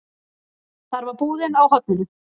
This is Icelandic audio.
Þar var búðin á horninu.